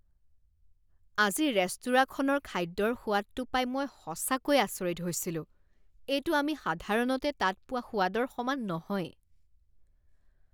আজি ৰেস্তোৰাঁখনৰ খাদ্যৰ সোৱাদটো পাই মই সঁচাকৈ আচৰিত হৈছিলোঁ। এইটো আমি সাধাৰণতে তাত পোৱা সোৱাদৰ সমান নহয়।